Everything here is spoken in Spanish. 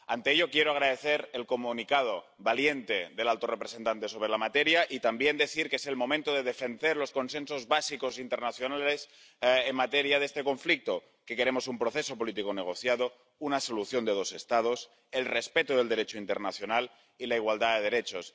Ante ello, quiero agradecer el comunicado valiente del alto representante sobre la materia y también decir que es el momento de defender los consensos básicos internacionales en materia de este conflicto que queremos un proceso político negociado, una solución de dos Estados, el respeto del Derecho internacional y la igualdad de derechos.